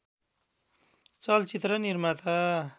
चलचित्र निर्माता